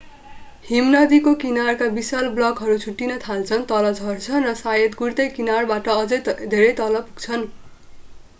हिमनदीको किनारका विशाल ब्लकहरू छुट्टिन थाल्छन् तल झर्छन् र सायद गुड्दै किनारबाट अझै धेरै तल पुग्छन्